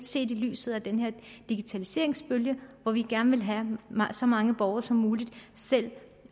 set i lyset af den her digitaliseringsbølge hvor vi gerne vil have at så mange borgere som muligt selv